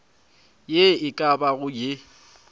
ye e ka bago ye